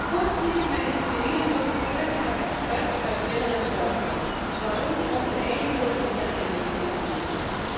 Voorts liet ik me inspireren door gesprekken met experts uit binnen en buitenland, waaronder onze eigen politie en inlichtingendiensten.